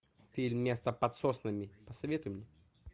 фильм место под соснами посоветуй мне